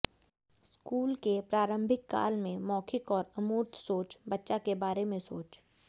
school के प्रारंभिक काल में मौखिक और अमूर्त सोच बच्चा के बारे में सोच